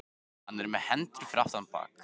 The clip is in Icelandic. Hann er með hendurnar fyrir aftan bak.